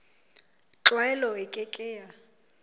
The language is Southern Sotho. tlwaelo e ke ke ya